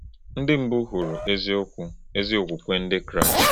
Ndị mbụ hụrụ eziokwu, ezi okwukwe ndị Kraịst.